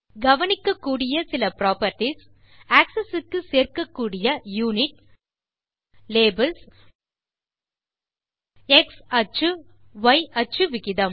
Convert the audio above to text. கவனிக்கக்கூடிய சில properties axis க்கு சேர்க்கக்கூடிய யுனிட் லேபல்ஸ் மற்றும் எக்ஸ் அச்சு ய் அச்சு விகிதம்